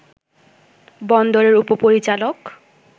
বন্দরের উপপরিচালক